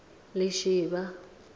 lishivha